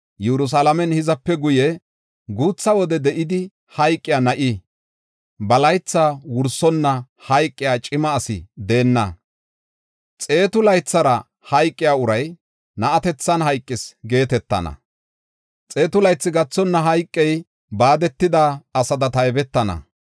“Yerusalaamen hizape guye, guutha wode de7idi hayqiya na7i, ba laytha wursonna hayqiya cima asi deenna. Xeetu laythara hayqiya uray, na7atethan hayqis geetetana; xeetu laythi gathonna hayqey, baadetida asada taybetana.